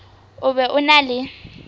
o be o na le